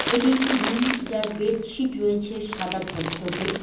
এটি একটি রুম যার বেডশিট রয়েছে সাদা ধপধপে।